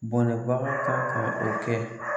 Bɔnɛbaga kan ka o kɛ.